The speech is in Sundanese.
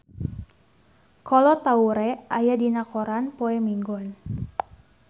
Kolo Taure aya dina koran poe Minggon